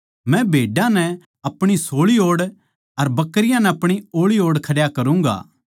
मै भेड्डां नै अपणी सोळी ओड़ अर बकरियाँ नै ओळी ओड़ खड्या करूँगा